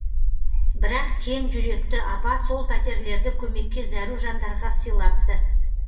бірақ кең жүректі апа сол пәтерлерді көмекке зәру жандарға сыйлапты